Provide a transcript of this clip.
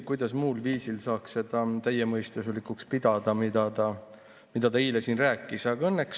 Kuidas muul viisil saaks pidada täiemõistuslikuks seda, mida ta eile siin rääkis?